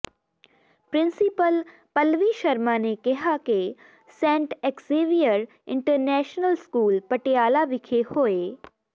principal Pallavi Sharma ਨੇ ਕਿਹਾ ਕਿ Saint Xavier International School Patiala ਵਿਖੇ ਹੋਏ